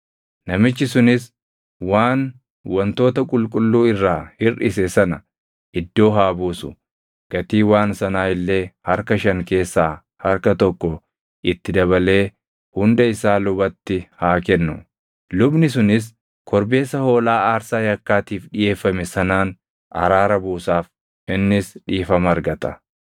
Namichi sunis waan wantoota qulqulluu irraa hirʼise sana iddoo haa buusu; gatii waan sanaa illee harka shan keessaa harka tokko itti dabalee hunda isaa lubatti haa kennu; lubni sunis korbeessa hoolaa aarsaa yakkaatiif dhiʼeeffame sanaan araara buusaaf; innis dhiifama argata.